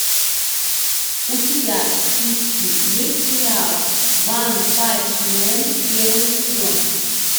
у тебя в списке есть сериал ванпанчмен первый сезон